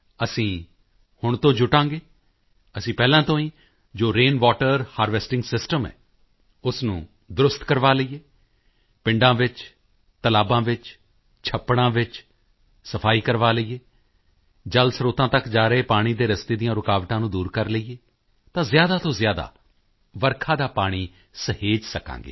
ਅਸੀਂ ਹੁਣੇ ਤੋਂ ਜੁਟਾਂਗੇ ਅਸੀਂ ਪਹਿਲਾਂ ਤੋਂ ਹੀ ਜੋ ਰੇਨ ਵਾਟਰ ਹਾਰਵੈਸਟਿੰਗ ਸਿਸਟਮ ਹੈ ਉਸ ਨੂੰ ਦਰੁਸਤ ਕਰਵਾ ਲਈਏ ਪਿੰਡਾਂ ਵਿੱਚ ਤਲਾਬਾਂ ਵਿੱਚ ਛੱਪੜਾਂ ਵਿੱਚ ਸਫਾਈ ਕਰਵਾ ਲਈਏ ਜਲ ਸਰੋਤਾਂ ਤੱਕ ਜਾ ਰਹੇ ਪਾਣੀ ਦੇ ਰਸਤੇ ਦੀਆਂ ਰੁਕਾਵਟਾਂ ਦੂਰ ਕਰ ਲਈਏ ਤਾਂ ਜ਼ਿਆਦਾ ਤੋਂ ਜ਼ਿਆਦਾ ਵਰਖਾ ਦਾ ਪਾਣੀ ਸਹੇਜ ਸਕਾਂਗੇ